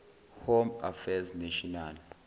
home affairs national